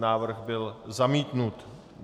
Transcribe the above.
Návrh byl zamítnut.